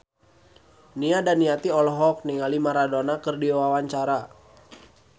Nia Daniati olohok ningali Maradona keur diwawancara